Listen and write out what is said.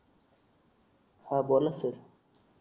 हा बोला सर